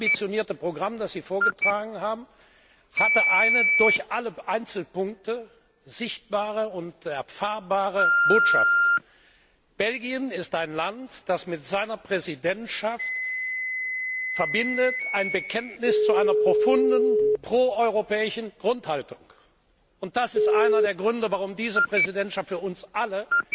Das ambitionierte Programm, das Sie vorgetragen haben, hat eine durch alle Einzelpunkte sichtbare und erfahrbare Botschaft Belgien ist ein Land, das mit seiner Präsidentschaft ein Bekenntnis zu einer profunden proeuropäischen Grundhaltung verbindet, und das ist einer der Gründe, warum diese Präsidentschaft für uns alle